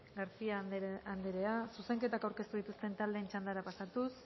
garcía anderea zuzenketak aurkeztu dituzten taldeen txandara pasatuz